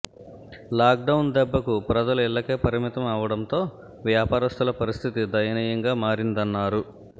lockdown దెబ్బకు ప్రజలు ఇళ్లకే పరిమితం అవ్వడంతో వ్యాపారస్తుల పరిస్థితి దయనీయంగా మారిందన్నారు